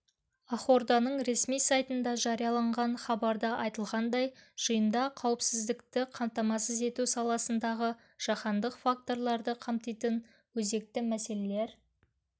ақорданың ресми сайтында жарияланған хабарда айтылғандай жиында қауіпсіздікті қамтамасыз ету саласындағы жаһандық факторларды қамтитын өзекті мәселелер